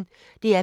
DR P1